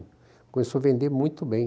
Começou a vender muito bem.